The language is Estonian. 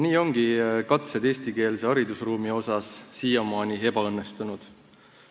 Nii ongi katsed eestikeelse haridusruumi asjus siiamaani ebaõnnestunud.